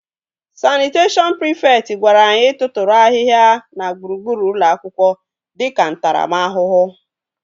Sanịteshọn prịfekt gwara anyị tụtụrụ ahịhịa na gburugburu ụlọ akwụkwọ dịka ntaramahụhụ